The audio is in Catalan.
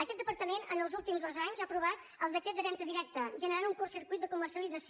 aquest departament en els últims dos anys ha aprovat el decret de venda directa generant un curt circuit de comercialització